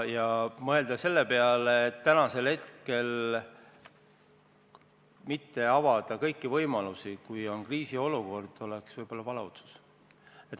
Ja mõelda selle peale, et mitte avada kõiki võimalusi täna, kui on kriisiolukord, oleks võib-olla vale otsus.